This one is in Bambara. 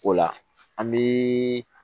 O la an bi